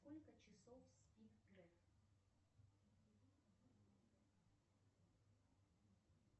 сколько часов спит греф